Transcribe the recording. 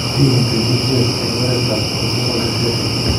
Kiinti BCS eng' oretap autosomal recessive.